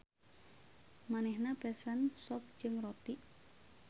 Manehna pesen sop jeung roti.